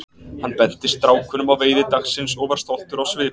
Hann benti strákunum á veiði dagsins og var stoltur á svip.